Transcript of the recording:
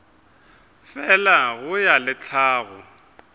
fela go ya le tlhago